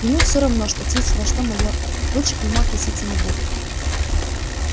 ему все равно что тисовая что майорка лучше к нему относиться не будут